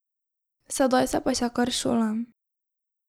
Sedaj se pa še kar šolam.